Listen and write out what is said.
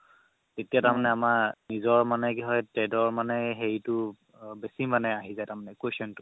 তেতিয়া মানে আমাৰ নিজৰ মানে trade ৰ মানে হেৰিতো বেচি মানে আহি যাই তাৰ মানে question তো